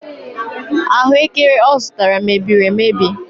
Ahụekere ọ zụtara mebiri emebi.